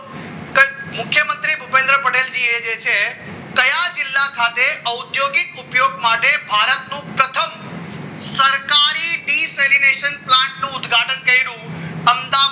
મુખ્યમંત્રી ભુપેન્દ્ર પટેલ જીએ છે કયા જિલ્લા ખાતે ઉદ્યોગિક ઉપયોગ માટે ભારતનું પ્રથમ સરકારી ડીશ relation થી પ્લાન્ટનું ઉદઘાટન કર્યું અમદાવાદ